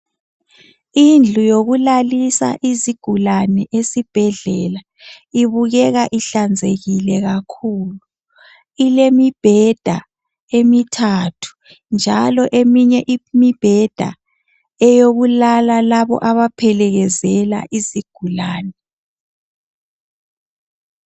Indlu yokulalisa izigulane esibhedlela, ibukeka ihlanzekile kakhulu. Ilemibheda emithathu njalo eminye imibheda eyokulala labo abaphelekezela izigulane